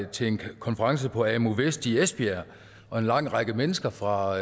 til en konference på amu vest i esbjerg og en lang række mennesker fra